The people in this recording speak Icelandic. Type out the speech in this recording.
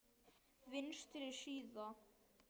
Vinstri síða